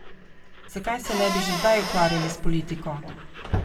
Zakaj se ne bi že zdaj ukvarjali s politiko?